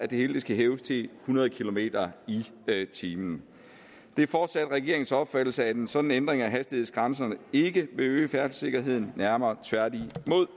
det hele hæves til hundrede kilometer per time det er fortsat regeringens opfattelse at en sådan ændring af hastighedsgrænserne ikke vil øge færdselssikkerheden nærmere tværtimod